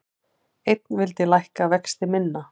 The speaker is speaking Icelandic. Einn vildi lækka vexti minna